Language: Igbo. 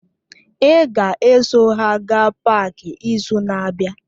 Ị ga-eso ha gaa páák izu na-abịa!